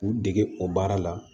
K'u dege o baara la